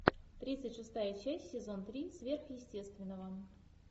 тридцать шестая часть сезон три сверхъестественного